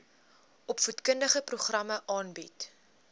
opvoedkundige programme aanbied